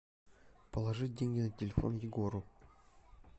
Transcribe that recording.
положить деньги на телефон егору